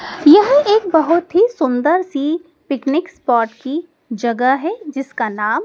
यह एक बहोत ही सुंदर सी पिकनिक स्पॉट की जगह है जिसका नाम--